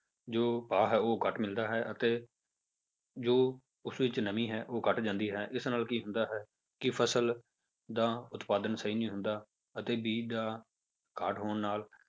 ਜੋ ਭਾਅ ਹੈ ਉਹ ਘੱਟ ਮਿਲਦਾ ਹੈ ਅਤੇ ਜੋ ਉਸ ਵਿੱਚ ਨਮੀ ਹੈ ਉਹ ਘੱਟ ਜਾਂਦੀ ਹੈ ਇਸ ਨਾਲ ਕੀ ਹੁੰਦਾ ਹੈ ਕਿ ਫਸਲ ਦਾ ਉਤਪਾਦਨ ਸਹੀ ਨਹੀਂ ਹੁੰਦਾ ਅਤੇ ਬੀਜ ਦਾ ਘਾਟ ਹੋਣ ਨਾਲ